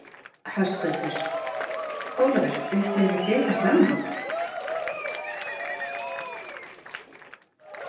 Höskuldur: Ólafur, upplifið þið það sama?